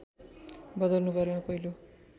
बदल्नु परेमा पहिलो